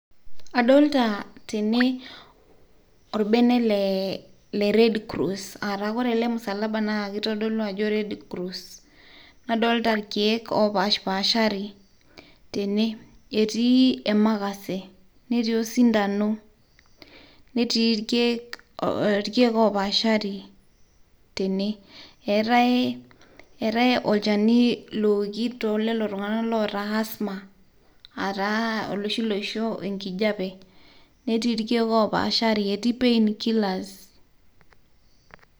Adolta tene orbene le le red cross ataa ore ele msalaba naa kitodolu ajo red cross . nadolta irkieek opashpashari tene, etii emakase ,netii osindano, netii irkieek, irkieek opaashari tene. eetae, eetae olchani looki tolelo tung'anak loota asthma aataa oloshi loisho enkijape . netii irkieek opashari, etii painkillers.